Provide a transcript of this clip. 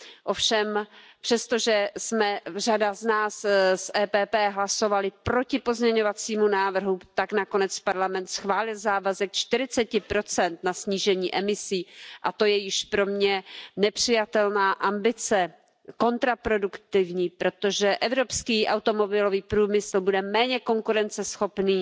Ovšem přesto, že jsme řada z nás z PPE hlasovali proti pozměňovacímu návrhu, tak nakonec Parlament schválil závazek na 40 snížení emisí, a to je již pro mě nepřijatelná ambice, kontraproduktivní, protože evropský automobilový průmysl bude méně konkurenceschopný,